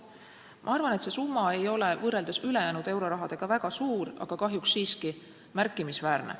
Ma arvan, et see summa ei ole võrreldes ülejäänud eurorahaga väga suur, aga kahjuks siiski märkimisväärne.